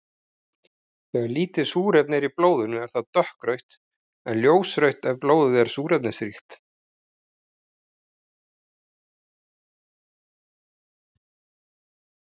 Þegar lítið súrefni er í blóðinu er það dökkrautt en ljósrautt ef blóðið er súrefnisríkt.